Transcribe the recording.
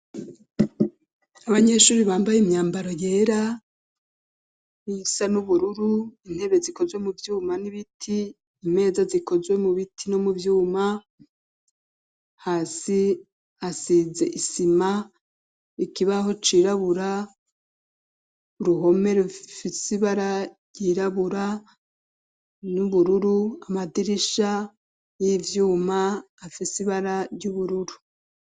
Abanyeshure bambaye imyambaro yera isa n'ubururu, intebe zikozwe mu vyuma n'ibiti imeza zikozwe mu biti no mu vyuma, hasi hasize isima, ikibaho cirabura ,uruhome rufise ibara ryirabura n'ubururu ,amadirisha y'ivyuma afise ibara ry'ubururu.